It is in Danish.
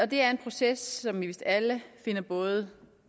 det er en proces som vi vist alle finder både